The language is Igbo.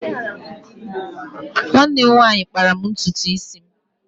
Nwanne m nwanyị kpara ntutu isi m.